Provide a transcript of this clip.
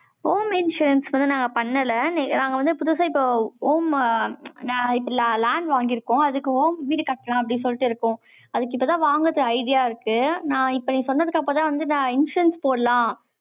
home insurance க்கு வந்து, நாங்க பண்ணல. நாங்க வந்து, புதுசா, இப்போ, home ஆ, நான், இப்ப land வாங்கியிருக்கோம். அதுக்கு, home வீடு கட்டறேன், அப்படின்னு சொல்லிட்டு இருக்கும் இப்பதான் வாங்குறதுக்கு idea இருக்கு. நான் இப்ப நீ சொன்னதுக்கு அப்புறம்தான் வந்து, நான் instance போடலாம்,